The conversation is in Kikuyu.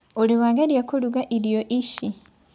Ũrĩ wagerĩa kũrũga irio ĩchĩ?